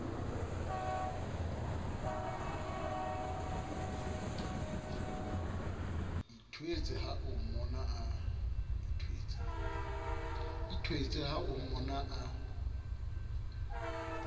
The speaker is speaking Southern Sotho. ithwetse ha o mmona a